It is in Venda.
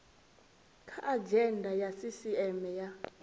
kha adzhenda ya sisieme ya